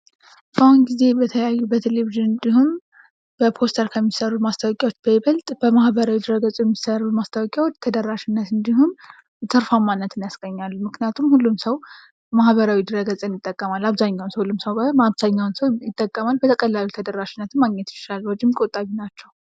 አሁን ጊዜ የተለያዩ በቴሌቪዥን እንዲሆን በፖስተር ከሚሰሩ ማስታወቂያዎች በይበልጥ በማህበረ ድረ ገጽ የሚሰሩ ማስታወቂያውዎች ተደራሽነት እንዲሁም ትርፉማነትን ያስገኛሉ። ምክንያቱም ሁሉም ሰው በማህበረ ድረ ገጽ ይጠቀማል ።አብዛኛው ሰው ሁሉም ሰው ባይሆን አብዛኛው ሰው ይጠቀማል በቀላሉም ተደራሽነትም ማግኘት ይችላል። ወጭም ቆጣቢ ናቸው።